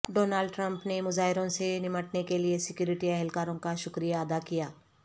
Donald Trump نے مظاہروں سے نمٹنے کے لئے سیکورٹی اہلکاروں کا شکریہ ادا کیا